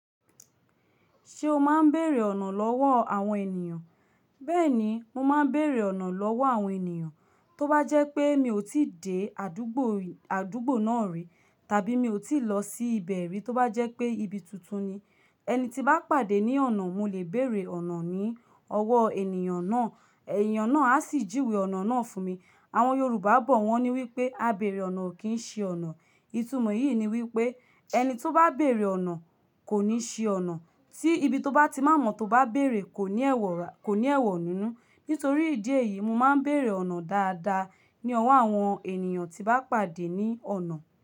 Ṣé o máa ń bèrè ọ̀nà lọ́wọ́ àwọn ènìyàn? Bẹ́ẹ̀ni, mo máa ń bèrè ọ̀nà lọ́wọ́ àwọn ènìyàn, tó bá jẹ́ pé mi ò tí dé àdúgbò, àdúgbò náà rí tàbí mi ò tí lọ sí ibẹ̀ rí, tó bá jẹ́ pé ibi tuntun ni. Ẹni tí bá pàdé ní ọ̀nà, mo lè bèrè ọ̀nà ní ọwọ́ ènìyàn náà, ènìyàn náà á sì juwé ọ̀nà náà fún mi. Àwọn Yorùbá bọ̀ wọ́n ní wípé, "A bèrè ọ̀nà ò kí ń ṣi ọ̀nà." Ìtumọ̀ yìí ni wípé ẹni tó bá bèrè ọ̀nà kò ní ṣi ọ̀nà. Tí ibi tó bá ti má mọ̀ tó bá bèrè kò ní ẹ̀wọ̀, kò ní ẹ̀wọ̀ nínú. Nítorí ìdí èyí, mo máa ń bèrè ọ̀nà dáadáa ní ọwọ́ àwọn ènìyàn tí bá pàdé ní ọ̀nà.